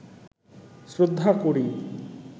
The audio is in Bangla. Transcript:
শ্রদ্ধা করি